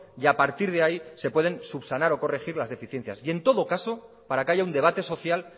y a partir de ahí se pueden subsanar o corregir las deficiencias y en todo caso para que haya un debate social